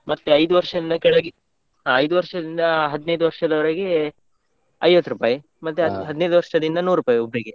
ಮತ್ತೆ ಐದು ವರ್ಷದಿಂದ ಕೆಳಗೆ, ಆ ಐದು ವರ್ಷದಿಂದ ಹದ್ನೈದು ವರ್ಷದವರೆಗೆ ಐವತ್ತು ರೂಪಾಯಿ ಹದ್ನೈದು ವರ್ಷದಿಂದ ನುರೂಪಾಯಿ ಒಬ್ರಿಗೆ.